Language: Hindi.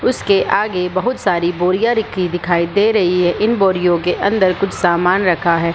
उसके आगे बहुत सारे बोरिया रखी दिखाई दे रही हैं इन बोरियों के अंदर कुछ सामान रखा है।